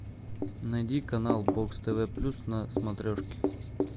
найди канал бокс тв плюс на смотрешке